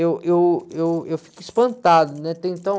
Eu, eu, eu, eu fico espantado, né? Até então...